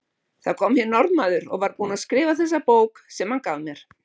Það kom hér Norðmaður og var búinn að skrifa þessa bók sem hann gaf mér.